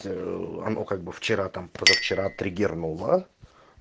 а ну как бы вчера там позавчера триггернуло